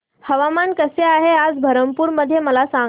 हवामान कसे आहे आज बरहमपुर मध्ये मला सांगा